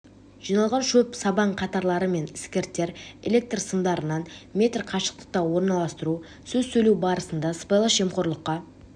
жиналған шөп сабан қатарлары мен іскірттер электр сымдарынан метр қашықтықта орналастыру сөз сөйлеу барысында сыбайлас жемқорлыққа